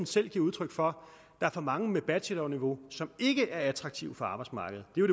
selv giver udtryk for at er for mange på bachelorniveau som ikke er attraktive for arbejdsmarkedet det er